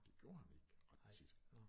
Det gjorde han ikke ret tit